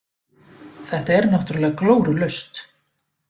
Þetta er náttúrulega glórulaust.